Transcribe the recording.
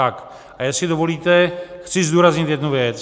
A jestli dovolíte, chci zdůraznit jednu věc.